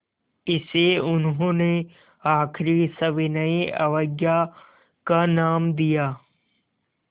इसे उन्होंने आख़िरी सविनय अवज्ञा का नाम दिया